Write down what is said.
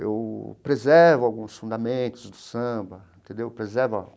Eu preservo alguns fundamentos do samba entendeu preservo a.